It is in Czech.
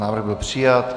Návrh byl přijat.